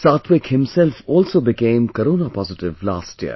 Satwik himself also became corona positive last year